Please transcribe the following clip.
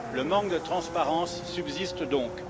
Le manque de transparence subsiste donc.